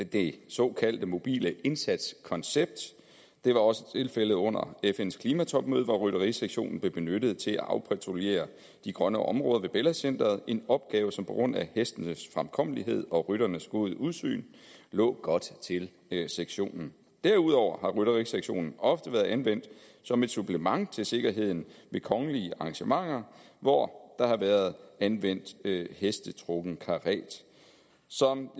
det såkaldte mobile indsatskoncept det var også tilfældet under fns klimatopmøde hvor rytterisektionen blev benyttet til at afpatruljere de grønne områder ved bella center en opgave som på grund af hestenes fremkommelighed og rytternes gode udsyn lå godt til sektionen derudover har rytterisektionen ofte været anvendt som et supplement til sikkerheden ved kongelige arrangementer hvor der har været anvendt hestetrukken karet som